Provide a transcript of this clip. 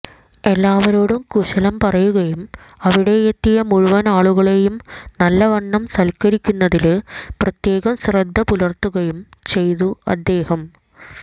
എല്ലാവരോടും കുശലം പറയുകയും അവിടെയെത്തിയ മുഴുവനാളുകളേയും നല്ലവണ്ണം സല്ക്കരിക്കുന്നതില് പ്രത്യേകം ശ്രദ്ധപുലര്ത്തുകയും ചെയ്തു അദ്ദേഹം